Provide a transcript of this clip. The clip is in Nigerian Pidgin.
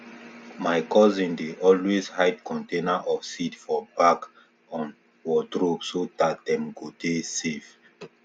my cousin dey always hide container of seed for back on wardrobe so dat dem go dey safe